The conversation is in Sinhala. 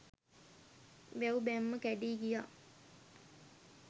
වැව් බැම්ම කැඞී ගියා